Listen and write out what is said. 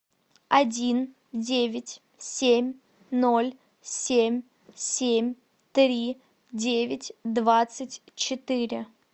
один девять семь ноль семь семь три девять двадцать четыре